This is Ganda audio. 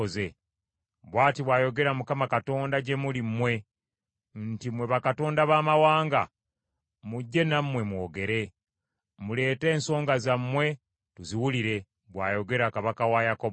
Bw’ati bw’ayogera Mukama Katonda gye muli mmwe nti, “Mmwe bakatonda baamawanga, mujje nammwe mwogere. Muleete ensonga zammwe tuziwulire,” bw’ayogera Kabaka wa Yakobo.